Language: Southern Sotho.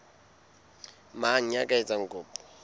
mang ya ka etsang kopo